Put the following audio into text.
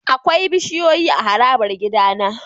Akwai bishiyoyi a harabar gidana.